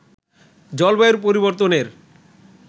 জলবায়ুর পরিবর্তনের